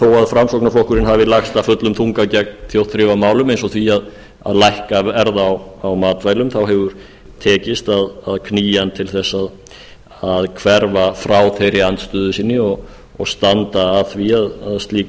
framsóknarflokkurinn hafi lagst af fullum þunga gegn þjóðþrifamálum eins og því að lækka verð á matvælum þá hefur tekist að knýja hann til að hverfa frá þeirri andstöðu sinni og standa að því að slík